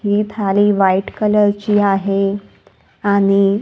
ही थाली व्हाईट कलरची आहे आणि--